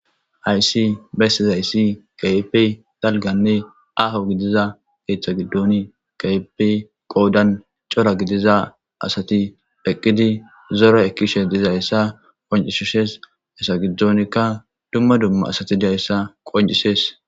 Haysi bessizayssi kehppe dalganne aho gidiza geeththa giddoni kaypi qoodan cora gidiza asati eqqidi zora ekkishe diza essa qoncishishees esa gidonkka dumma dumma asati dizayssa qoncisees